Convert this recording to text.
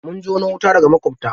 Mun jono wuta daga maƙwabta.